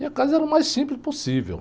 E a casa era o mais simples possível.